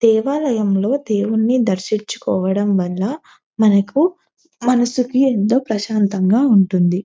దేవాలయంలో దేవుని దర్శించుకోవడం వల్ల మనకు మనసుకి ఎంతో ప్రశాంతంగా ఉంటుంది.